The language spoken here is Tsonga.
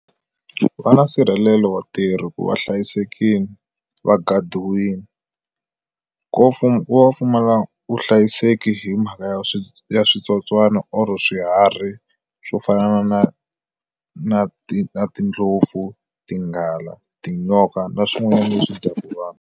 Va na nsirhelelo vatirhi ku va hlayisekile va gadiwini ngopfu ku va pfumala vuhlayiseki hi mhaka ya switsotswana or swiharhi swo fana na na na ti na tindlopfu tinghala tinyoka na swin'wana leswi dyaka vanhu.